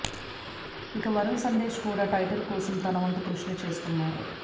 ఇక వరుణ్ సందేశ్ కూడా టైటిల్ కోసం తన వంతు కృషిని చేస్తున్నాడు